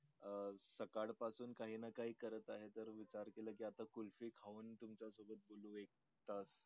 अं सकाळपासून काही ना काही करत आहे तर विचार केला की आता कुल्फी खाऊन तुमच्या सोबत बोलू एक तास